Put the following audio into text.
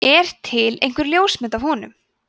er til einhver ljósmynd af honum